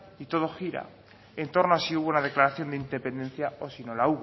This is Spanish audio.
y todo gira en torno a si hubo una declaración de independencia o si no la